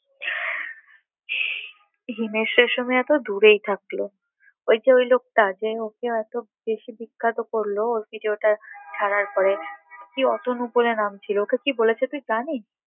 হিমেশ রেশমিয়া তো দূরেই থাকলো ওই যে ওই লোকটা যে ওকে এত বেশি বিখ্যাত করলো, ওর ভিডিওটা ছাড়ার পরে কি অতনু বলে নাম ছিল, ওকে কি বলেছে তুই জানিস?